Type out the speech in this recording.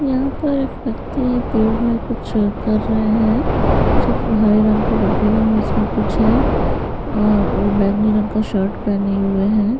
यहां पर एक व्यक्ति है पेड़ में कुछ कर रहे हैं सब हरे रंग के डब्बे लिए उसमें कुछ है और वो बैगनी रंग का शर्ट पहने हुए हैं।